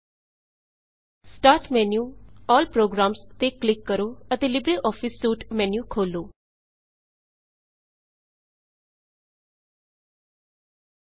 start menu GTGT ALL programs all programs ਤੇ click ਕਰੋ ਅਤੇ LibreOffice suite Libre Office suite menu ਖੋਲੋ